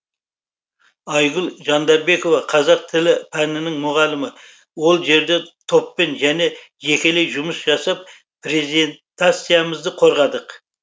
айгүл жандарбекова қазақ тілі пәнінің мұғалімі ол жерде топпен және жекелей жұмыс жасап презентациямызды қорғадық